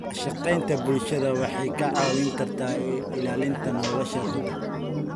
Wadashaqeynta bulshadu waxay kaa caawin kartaa ilaalinta nolosha badda.